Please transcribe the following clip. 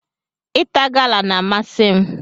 Ịta gala n'amasi m